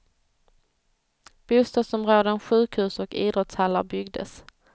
Bostadsområden, sjukhus och idrottshallar byggdes.